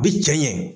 A bi cɛ ɲɛ